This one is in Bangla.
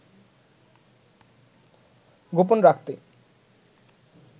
গোপন রাখতেই